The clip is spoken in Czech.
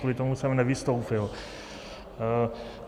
Kvůli tomu jsem nevystoupil.